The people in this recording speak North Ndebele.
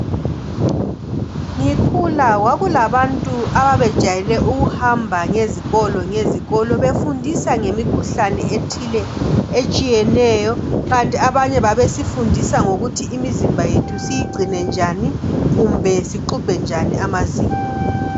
Ngikhula kwakulabantu ababejayele ukuhamba ngezikolo ngezikolo befundisa ngemikhuhlane ethile etshiyeneyo kanti abanye babesifundisa ngokuthi imizimba yethu siyigcine njani kumbe sixubhe njani amazinyo.